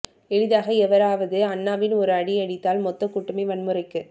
எளிதாக எவராவது அன்னாவின் ஒரு அடி அடித்தால் மொத்த கூட்டமே வன்முறைக்கு